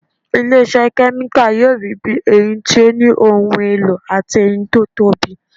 Ilé iṣẹ́ kẹ́míkà yóò rí bí èyí tí ó ní ohun èlò àti èyí tí ó tóbi